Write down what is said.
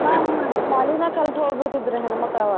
ಹಾ ಶಾಲಿನ ಕಲ್ತ್ ಹೋಬಿಡ್ತಿದ್ರು ಹೆಣ್ಮಕ್ಳ್ ಆವಾಗ .